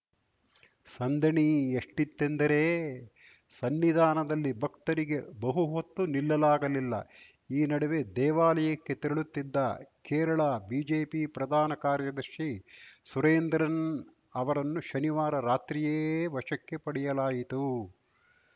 ಸಂದಣಿ ಎಷ್ಟಿತ್ತೆಂದರೆ ಸನ್ನಿಧಾನದಲ್ಲಿ ಭಕ್ತರಿಗೆ ಬಹುಹೊತ್ತು ನಿಲ್ಲಲಾಗಲಿಲ್ಲ ಈ ನಡುವೆ ದೇವಾಲಯಕ್ಕೆ ತೆರಳುತ್ತಿದ್ದ ಕೇರಳ ಬಿಜೆಪಿ ಪ್ರಧಾನ ಕಾರ್ಯದರ್ಶಿ ಸುರೇಂದ್ರನ್‌ ಅವರನ್ನು ಶನಿವಾರ ರಾತ್ರಿಯೇ ವಶಕ್ಕೆ ಪಡೆಯಲಾಯಿತು